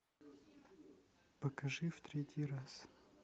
покажи в третий раз